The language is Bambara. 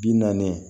Bi naani